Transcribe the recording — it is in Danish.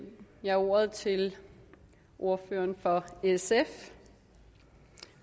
jeg ordet til ordføreren for sf